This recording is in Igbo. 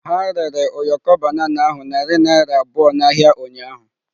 Ha rere ụyọkọ banana ahụ narị naira abụọ n'ahịa ụnyahụ.